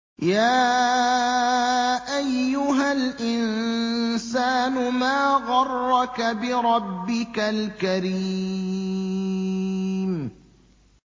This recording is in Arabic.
يَا أَيُّهَا الْإِنسَانُ مَا غَرَّكَ بِرَبِّكَ الْكَرِيمِ